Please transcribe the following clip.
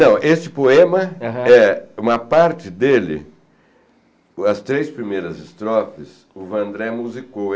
Não, esse poema, aham, é uma parte dele, as três primeiras estrofes, o Vandré musicou.